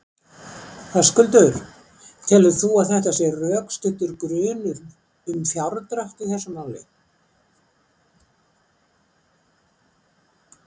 Höskuldur: Telur þú að það sé rökstuddur grunur um fjárdrátt í þessu máli?